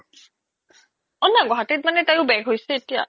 ‌ গুৱাহাতিত মানে তাইও back হৈছে এতিয়া